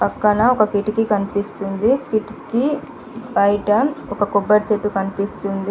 పక్కన ఒక కిటికీ కనిపిస్తుంది. కిటికీ బైట ఒక కొబ్బరి చెట్టు కనిపిస్తుంది.